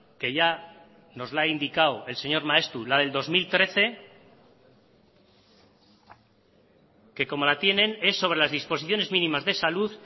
que ya nos la ha indicado el señor maeztu la del dos mil trece que como la tienen es sobre las disposiciones mínimas de salud